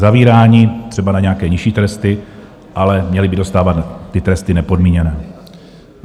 Zavíráni třeba na nějaké nižší tresty, ale měli by dostávat ty tresty nepodmíněné.